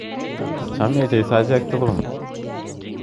Chamech Jeiso achek tukul.